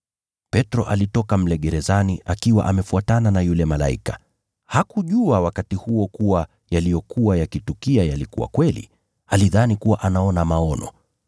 Petro akatoka mle gerezani akiwa amefuatana na yule malaika. Hakujua wakati huo kuwa yaliyokuwa yakitukia yalikuwa kweli. Alidhani kuwa anaona maono.